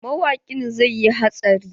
Mawaƙin zai yi hatsari.